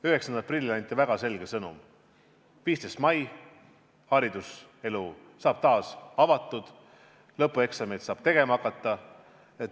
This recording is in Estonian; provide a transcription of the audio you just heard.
9. aprillil anti väga selge sõnum: 15. mail saab hariduselu taas avatud, lõpueksameid saab tegema hakata.